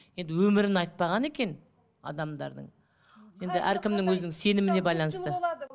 енді өмірін айтпаған екен адамдардың енді әркімнің өзінің сеніміне байланысты